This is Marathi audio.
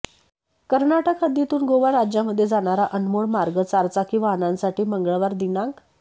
कर्नाटक हद्दीतून गोवा राज्यामध्ये जाणारा अनमोड मार्ग चारचाकी वाहनांसाठी मंगळवार दि